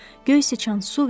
Göy sıçan su ver.